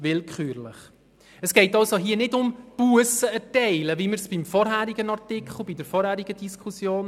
Hier geht es also nicht um das Erteilen von Bussen wie bei der vorherigen Diskussion.